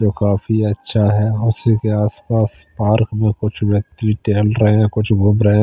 जो काफी अच्छा है उसी के आस पास पार्क में कुछ व्यक्ति टहल रहे हैं कुछ घूम रहे--